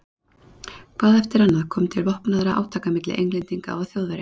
Hvað eftir annað kom til vopnaðra átaka milli Englendinga og Þjóðverja.